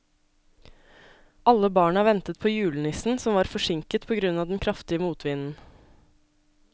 Alle barna ventet på julenissen, som var forsinket på grunn av den kraftige motvinden.